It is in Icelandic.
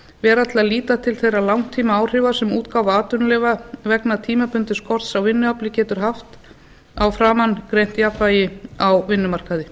til að líta til þeirra langtímaáhrifa sem útgáfa atvinnuleyfa vegna tímabundins skorts á vinnuafli getur haft á framangreint jafnvægi á vinnumarkaði